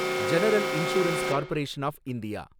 general insurance corporation of India